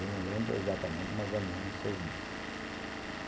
Eu não lembro exatamente, mas mais ou menos seis dias.